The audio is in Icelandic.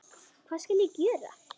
Hvað skal gjöra?